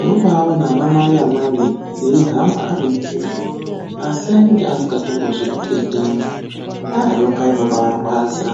.Unobatoona ana mai amweni eihamba ari mupushu. Asi anenge asingazvikendengi .Nyoka yemundani yekubara inobaarwadza.